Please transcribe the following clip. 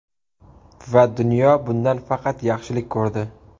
Va dunyo bundan faqat yaxshilik ko‘rdi.